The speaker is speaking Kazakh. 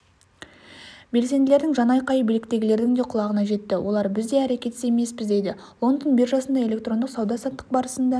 белсенділердің жанайқайы биліктегілердің де құлағына жетті олар біз де әрекетсіз емеспіз дейді лондонбиржасында электрондық сауда-саттық барысында